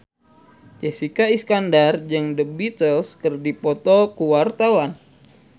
Jessica Iskandar jeung The Beatles keur dipoto ku wartawan